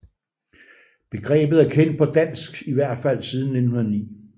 Begrebet er kendt på dansk i hvert fald siden 1909